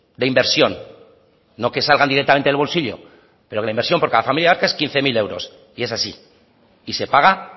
de inversión no que salgan directamente del bolsillo pero que la inversión por cada familia vasca es de quince mil euros y es así y se paga